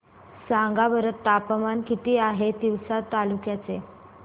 सांगा बरं तापमान किती आहे तिवसा तालुक्या चे